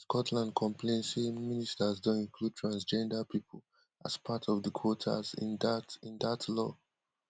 for women scotland complain say ministers don include transgender pipo as part of di quotas in dat in dat law